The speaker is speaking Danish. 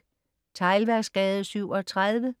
Teglværksgade 37